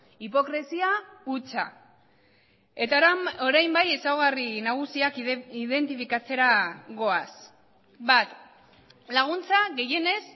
hipokresia hutsa eta orain bai ezaugarri nagusiak identifikatzera goaz bat laguntza gehienez